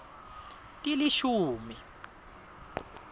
tilishumi